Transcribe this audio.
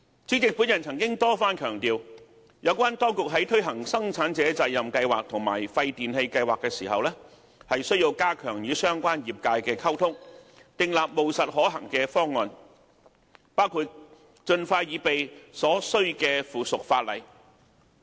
主席，我曾多番強調，當局在推行生產者責任計劃和廢電器計劃的時候，需加強與相關業界的溝通，訂立務實可行的方案，包括盡快擬備所需的附屬法例。